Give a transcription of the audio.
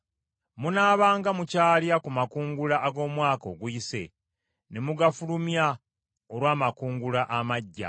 Munaabanga mukyalya ku makungula ag’omwaka oguyise ne mugafulumya olw’amakungula amaggya.